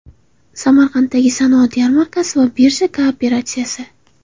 Samarqanddagi sanoat yarmarkasi va birja kooperatsiyasi.